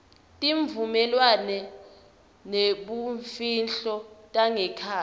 tivumelwano tebumfihlo tangekhatsi